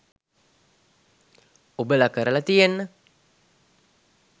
ඔබලා කරලා තියන්න